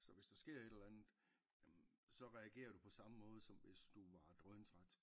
Så hvis der sker et eller andet jamen så reagerer du på samme måde som hvis du var drøn træt